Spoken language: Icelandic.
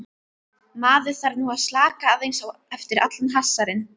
Maður þarf nú að slaka aðeins á eftir allan hasarinn.